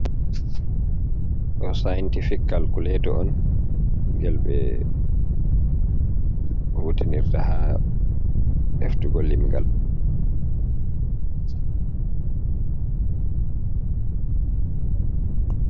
Ɗo saintifik kalkuleto on. Ngel ɓe hutinirta ha heftugo limngal.